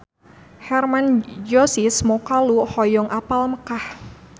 Hermann Josis Mokalu hoyong apal Mekkah